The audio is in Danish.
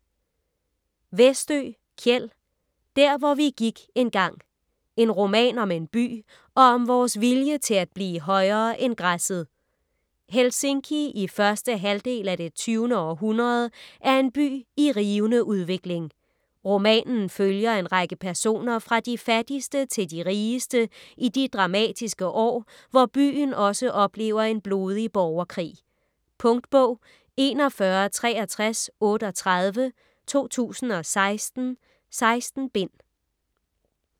Westö, Kjell: Der hvor vi gik engang: en roman om en by og om vores vilje til at blive højere end græsset Helsinki i 1. halvdel af det 20. århundrede er en by i rivende udvikling. Romanen følger en række personer fra de fattigste til de rigeste i de dramatiske år, hvor byen også oplever en blodig borgerkrig. Punktbog 416338 2016. 16 bind.